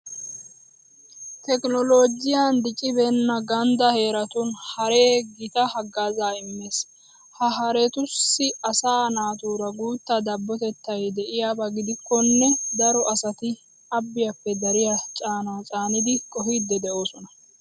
Tekinooloojiyan diccibeenna ganddaa heeratun haree gita haggaazaa immees. Ha haretussi asaa naatuura guta dabbotettay de'iyaba gidikkonne daro asati abbiyappe dariya caanaa cyanide qohiiddi de'oosona.